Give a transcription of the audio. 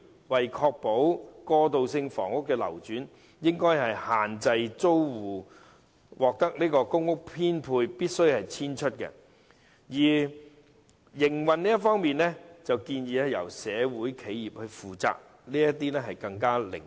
為確保過渡性房屋的流轉，當局應該規定租戶倘獲編配公屋便必須遷出，營運方面則建議由社會企業負責，便會更為靈活。